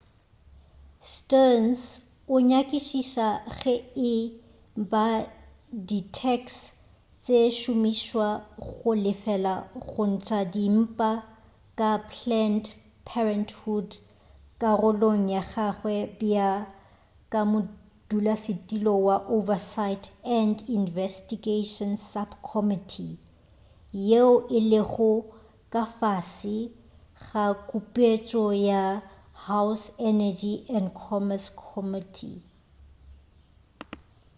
stearns o nyakišiša ge e ba di tax di šomišwa go lefela go ntša dimpa ka planned parenthood karolong ya gagwe bjalo ka modulasetulo wa oversight and investigation subcommittee yeo e lego ka fase ga kupetšo ya house energy and commerce committee